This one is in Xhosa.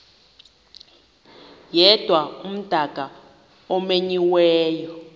yedwa umdaka omenyiweyo